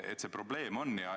See probleem on.